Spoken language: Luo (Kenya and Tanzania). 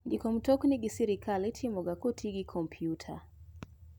Ndiko mtokni gi sirkal itomoga koti gi kompyuta.